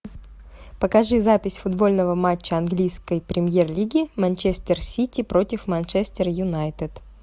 покажи запись футбольного матча английской премьер лиги манчестер сити против манчестер юнайтед